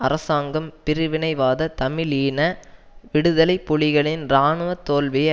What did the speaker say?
அரசாங்கம் பிரிவினைவாத தமிழீழ விடுதலை புலிகளின் இராணுவ தோல்வியை